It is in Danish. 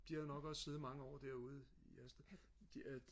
de havde nok også siddet mange år derude i Hersted de øh